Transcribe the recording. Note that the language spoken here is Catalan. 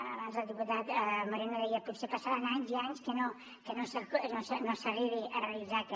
abans el diputat moreno deia potser passaran anys i anys que no s’arribi a realitzar aquest